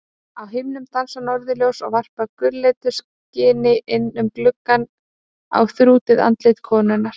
Á himnum dansa norðurljós og varpa gulleitu skini inn um glugga á þrútið andlit konunnar.